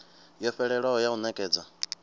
yo fhelelaho ya u nekedza